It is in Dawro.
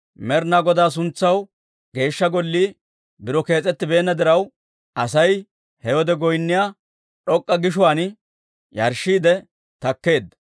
Med'inaa Godaa suntsaw Geeshsha Gollii biro kees'ettibeenna diraw, Asay he wode goynniyaa d'ok'k'a gishuwaan yarshshiidde takkeedda.